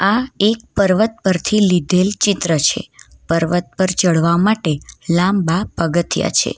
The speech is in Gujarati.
આ એક પર્વત પરથી લીધેલ ચિત્ર છે પર્વત પર ચડવા માટે લાંબા પગથિયા છે.